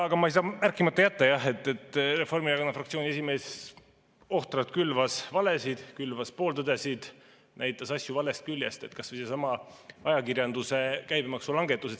Aga ma ei saa märkimata jätta, et Reformierakonna fraktsiooni esimees ohtralt külvas valesid, külvas pooltõdesid, näitas asju valest küljest, kas või seesama ajakirjanduse käibemaksu langetus.